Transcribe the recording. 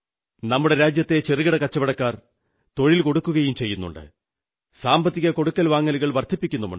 നമ്മുടെ രാജ്യത്തെ ചെറുകിട കച്ചവടക്കാർ തൊഴിൽ കൊടുക്കുകയും ചെയ്യുന്നുണ്ട് സാമ്പത്തിക കൊടുക്കൽ വാങ്ങലുകൾ വർധിപ്പിക്കുന്നുമുണ്ട്